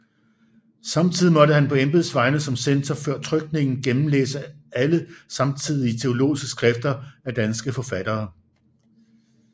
Samtidig måtte han på embeds vegne som censor før trykningen gennemlæse alle samtidige teologiske skrifter af danske forfattere